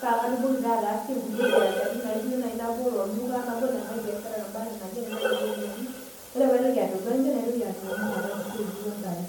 pakatumoki taa ataasie nkulie biasharani naijo nai nabol olduka, nabol enkae biashara nai naba enaa nena ropiyaiani. Ore paitoki adolu enchan, naitoki ainyang'u napa kishu ainei o ntare.